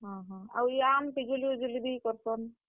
ହଁ ହଁ, ଆଉ ଇ ଆମ୍ ଆଉ ପିଜୁଲି, ବି କରସନ୍?